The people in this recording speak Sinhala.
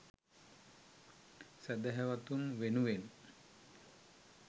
සැදැහැවතුන් වෙනුවෙන්